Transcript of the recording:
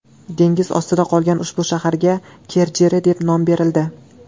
Dengiz ostida qolgan ushbu shaharga Kerderi deb nom berildi.